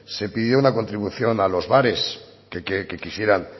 se pidió una contribución a los bares que quisieran